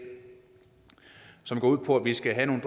som går ud på at vi skal have nogle